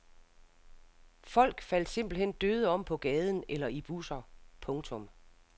Folk faldt simpelt hen døde om på gaden eller i busser. punktum